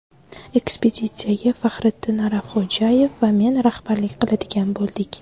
Ekspeditsiyaga Faxriddin Ashrafxo‘jayev va men rahbarlik qiladigan bo‘ldik.